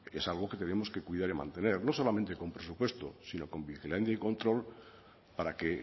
es algo que tenemos que cuidar y mantener no solamente con presupuestos y sino con vigilancia y control para que